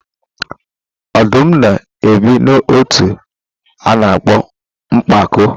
Ọdụm na-ebi n'ọtú a na-akpọ mpako.